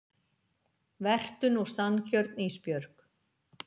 Vertu nú sanngjörn Ísbjörg.